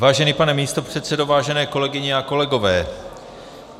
Vážený pane místopředsedo, vážené kolegyně a kolegové.